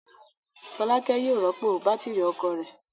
Fọlákẹ́ yóò rọ́pò bátírí ọkọ̀ rẹ̀.